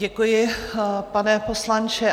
Děkuji, pane poslanče.